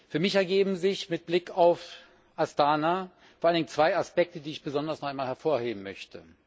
Für mich ergeben sich mit Blick auf Astana vor allen Dingen zwei Aspekte, die ich besonders hervorheben möchte.